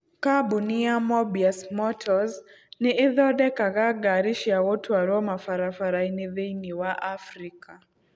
Kambuni ya Mobius Motors nĩ ĩthondekaga ngaari cia gũtwarwo mabarabara-inĩ thĩinĩ wa Afrika.